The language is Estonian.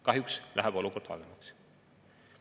Kahjuks läheb olukord halvemaks.